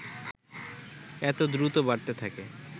এত দ্রুত বাড়তে থাকে